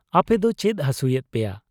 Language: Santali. ᱟᱯᱮᱫᱚ ᱪᱮᱫ ᱦᱟᱹᱥᱩᱭᱮᱫ ᱯᱮᱭᱟ ?